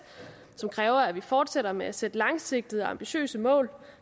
som kræver at vi fortsætter med at sætte langsigtede og ambitiøse mål